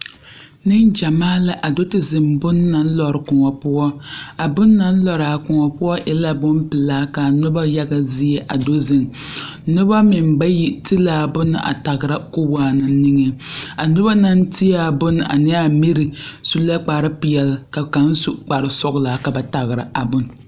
Neŋgyɛmaa la a do te ziŋ bonne naŋ lɔre koɔ poɔ a bonne na naŋ lɔraa koɔ poɔ e la bompelaa ka noba yaga zie a do ziŋ noba meŋ bayi ti la a bonne a tagra ka o waana nige a noba naŋ ti a bonne ane a miri su la kparepeɛlle ka kaŋ su kparesɔglaa ka ba tagra a bonne.